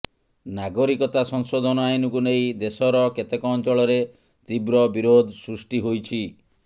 ନାଗରିକତା ସଂଶୋଧନ ଆଇନକୁ ନେଇ ଦେଶର କେତେକ ଅଞ୍ଚଳରେ ତୀବ୍ର ବିରୋଧ ସୃଷ୍ଟି ହୋଇଛି